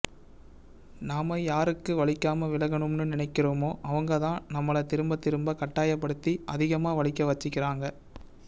நாம யாருக்கு வலிக்காம விலகனும்னு நினைக்கிறமோ அவங்க தான் நம்மள திரும்ப திரும்ப கட்டாயப்படுத்தி அதிகமா வலிக்க வச்சிக்கிறாங்க